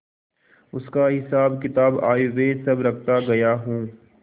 उसका हिसाबकिताब आयव्यय सब रखता गया हूँ